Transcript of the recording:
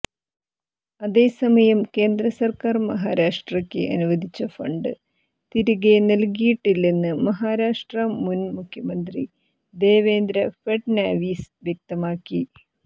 അതേസമയം കേന്ദ്ര സർക്കാർ മഹാരാഷ്ട്രക്ക് അനുവദിച്ച ഫണ്ട് തിരികെ നൽകിയിട്ടില്ലെന്ന് മഹാരാഷ്ട്ര മുൻ മുഖ്യമന്ത്രി ദേവേന്ദ്ര ഫഡ്നാവിസ് വ്യക്തമാക്കി